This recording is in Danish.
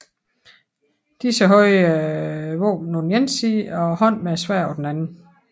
Disse havde våbnet på den ene side og hånden med sværdet på den anden